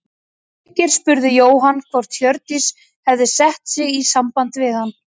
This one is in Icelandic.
Birkir spurði Jóhann hvort Hjördís hefði sett sig í samband við hann.